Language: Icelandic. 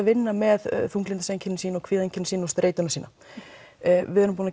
vinna með þunglyndiseinkenni sín og kvíaðeinkenni sín og streituna sína við erum búin